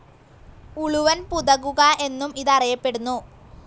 ഉളുവൻ പുതകുക എന്നും ഇതറിയപ്പെടുന്നു.